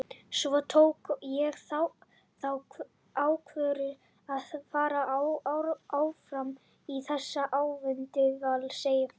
Svo tók ég þá ákvörðun að vera áfram í þessu ævintýri hjá Val, segir Freyr.